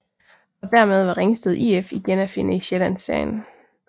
Og dermed var Ringsted IF igen at finde i Sjællandsserien